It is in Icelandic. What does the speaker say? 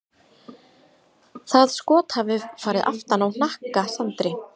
Það skot hafi farið aftan á hnakka Sandri.